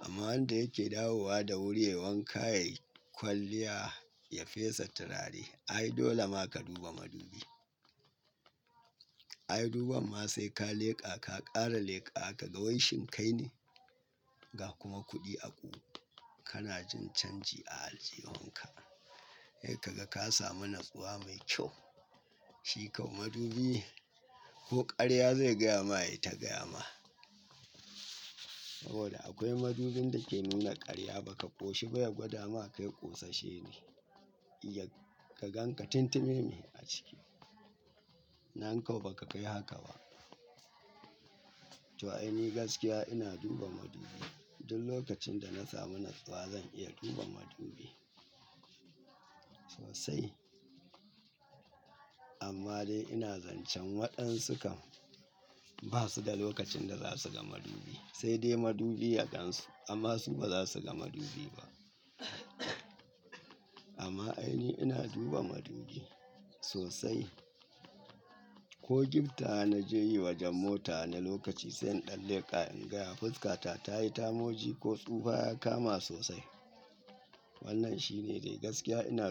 Amma har da yake dawowa da wuri yai wanka ya yi kwalliya ya fesa turare ai dole ma ka duba madubi. Ai duban ma sai ka leƙa ka ƙara leƙa ka ga waishin kai ne ga kuma kuɗi a ƙu. Kana jin canji a aljihunka. Kai ka ga ka samu natsuwa mai kyau shi kau madubi ko ƙarya zai gaya ma yaita gaya ma. Sabida akwai madubin da ke nuna karya baka koshi ba yace kai kosasshe ne. Ya ka ganka tuntuneme a ciki. Nan kau ba ka kai haka ba. To ai ni gaskiya ina duba madubi. Duk lokacin da na samu natsuwa zan iya duba madubi sosai. Amma dai ina zancen waɗansu kam ba su da lokacin da za su ga madubi sai dai madubi ya gansu amma su ba za su ga madubi ba. Amma ai ni ina duba madubi sosai. Ko giftaws na je yi wajen mota na lokaci sai in ɗan leƙa in gaya fuskata ta yi tamoji ko tsufa ya kama sosai. Wannan shine dai gaskiya ina duba madubi.